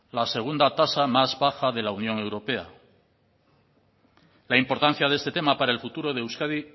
la segunda tasa más baja de la unión europea la importancia de este tema para el futuro de euskadi